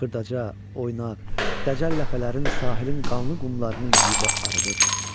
Xırdaca, oynaq, ləcəl ləpələrin sahilin qanlı qumlarını yuyub arıdıb.